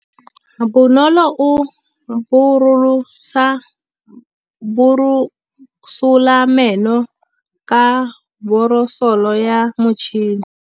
Bonolô o borosola meno ka borosolo ya motšhine.